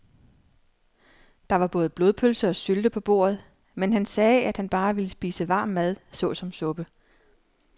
Der var både blodpølse og sylte på bordet, men han sagde, at han bare ville spise varm mad såsom suppe.